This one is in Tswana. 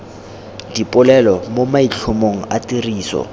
dipolelo mo maitlhomong a tiriso